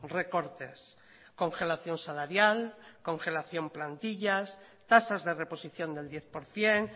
recortes congelación salarial congelación plantillas tasas de reposición del diez por ciento